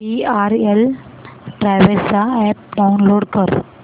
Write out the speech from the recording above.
VRL travels चा app download कर